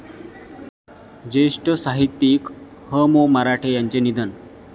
ज्येष्ठ साहित्यिक ह.मो.मराठे यांचे निधन